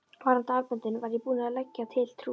Varðandi armböndin var ég búinn að leggja til Trú